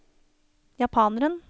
japaneren